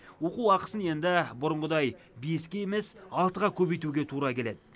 оқу ақысын енді бұрынғыдай беске емес алтыға көбейтуге тура келеді